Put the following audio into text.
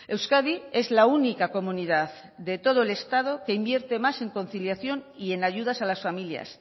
euskadi es la única comunidad de todo el estado que invierte más en conciliación y en ayudas a las familias